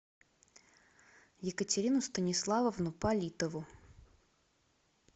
екатерину станиславовну политову